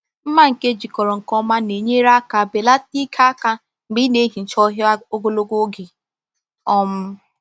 Mma nke ejikọrọ nke ọma na-enyere aka belata ike aka mgbe ị na-ehicha ọhịa ogologo oge. um